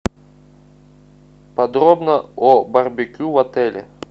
подробно о барбекю в отеле